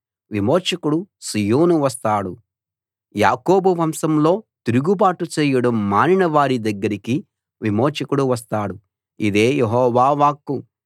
విమోచకుడు సీయోను వస్తాడు యాకోబు వంశంలో తిరుగుబాటు చేయడం మానిన వారి దగ్గరికి విమోచకుడు వస్తాడు ఇదే యెహోవా వాక్కు